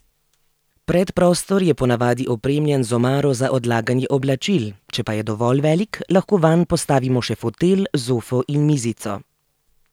Predprostor je po navadi opremljen z omaro za odlaganje oblačil, če pa je dovolj velik, lahko vanj postavimo še fotelj, zofo in mizico.